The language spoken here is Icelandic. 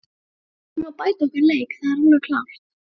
Við þurfum að bæta okkar leik, það er alveg klárt.